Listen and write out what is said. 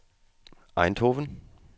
Eindhoven